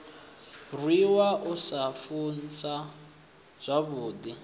rwiwa u sa funzwa zwavhudi